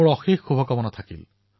মোৰ অশেষ শুভকামনা থাকিল